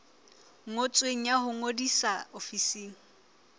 ngotsweng ya ho ngodisa ofising